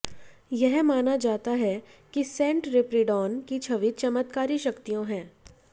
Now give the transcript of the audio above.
यह माना जाता है कि सेंट स्पिरिडॉन की छवि चमत्कारी शक्तियों है